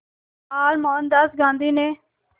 बार मोहनदास गांधी ने